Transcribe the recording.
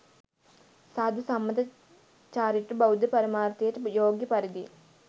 සාධු සම්මත චාරිත්‍ර බෞද්ධ පරමාර්ථයට යෝග්‍ය පරිදි